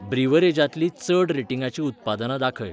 ब्रिव्हरेजांतलीं चड रेटिंगांची उत्पादनां दाखय.